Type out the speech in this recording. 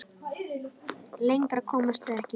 Lengra komust þeir ekki.